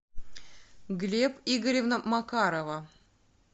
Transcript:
глеб игоревна макарова